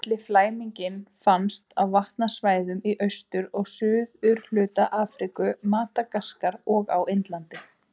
Litli flæmingi finnst á vatnasvæðum í austur- og suðurhluta Afríku, Madagaskar og á Indlandi.